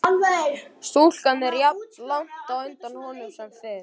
Stúlkan er jafnlangt á undan honum sem fyrr.